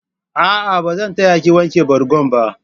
A'a, ba zan ta ya ki wanke bargon ba.